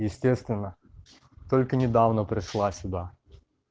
естественно только недавно пришла сюда